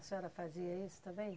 A senhora fazia isso também?